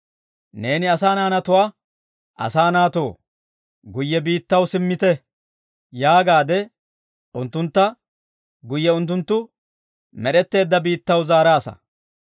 Neeni asaa naanatuwaa, «Asaa naatoo, guyye biittaw simmite» yaagaade, unttuntta guyye unttunttu med'etteedda biittaw zaaraasa.